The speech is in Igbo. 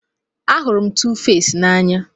Ahụrụ m Tuface n'anya